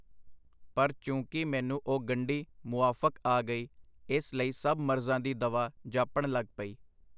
ਪਰ ਚੂੰਕਿ ਮੈਨੂੰ ਉਹ ਗੰਢੀ ਮੁਆਫਕ ਆ ਗਈ, ਇਸ ਲਈ ਸਭ ਮਰਜ਼ਾਂ ਦੀ ਦਵਾ ਜਾਪਣ ਲਗ ਪਈ.